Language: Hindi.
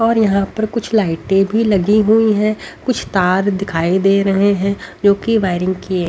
और यहां पर कुछ लाइटें भी लगी हुई हैं कुछ तार दिखाई दे रहे हैं जोकि वायरिंग की--